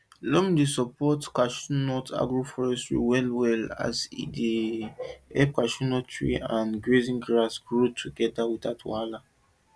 loam dey support chestnut agroforestry wellwell as e dey help chestnut tree and grazing grass grow together without wahala